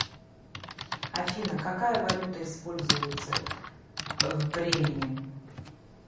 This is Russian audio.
афина какая валюта используется в бремене